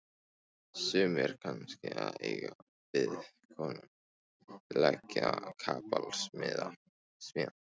Sumir kannski að eiga við konu, leggja kapal, smíða.